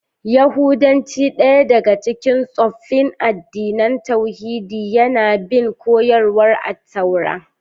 Yahudanci, daya daga cikin tsoffin addinan tauhidi, yana bin koyarwar Attaura.